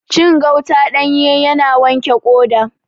Cin gauta ɗanye yana wanke ƙoda